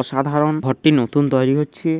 অসাধারন ঘরটি নতুন তৈরি হচ্ছে।